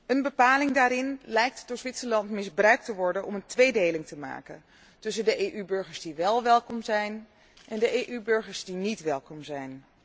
Een bepaling daarin lijkt door Zwitserland misbruikt te worden om een tweedeling te maken tussen de EU burgers die wel welkom zijn en de EU burgers die niet welkom zijn.